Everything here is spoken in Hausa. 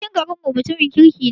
Sarkim garin mu mutumin kirki ne